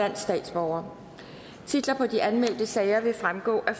fyrre titler på de anmeldte sager vil fremgå af